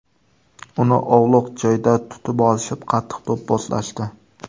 Uni ovloq joyda tutib olishib, qattiq do‘pposlashdi.